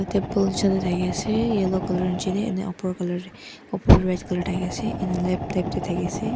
te pol chol thaki ase yellow colour inchene upor upor thaki ase an lap tap thaki ase.